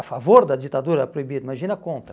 A favor da ditadura é proibido, imagina contra.